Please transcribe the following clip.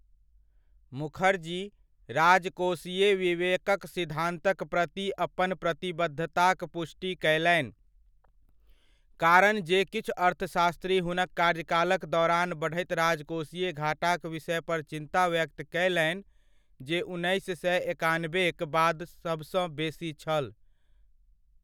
मुखर्जी राजकोषीय विवेकक सिद्धान्तक प्रति अपन प्रतिबद्धताक'पुष्टि कयलनि, कारणजे किछु अर्थशास्त्री हुनक कार्यकालक दौरान बढ़ैत राजकोषीय घाटाक विषयपर चिन्ता व्यक्त कयलनि जे उन्नैस सए एकानबेक बाद सबसँ बेसी छल।